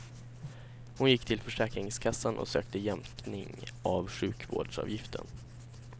Hon gick till försäkringskassan och sökte jämkning av sjukhusvårdsavgiften.